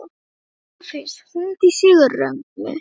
Orfeus, hringdu í Sigurrögnu.